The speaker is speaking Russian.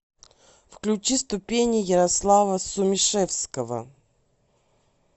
включи ступени ярослава сумишевского